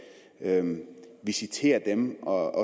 visitere dem og